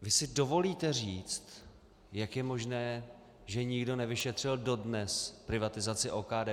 Vy si dovolíte říct, jak je možné, že nikdo nevyšetřil dodnes privatizaci OKD.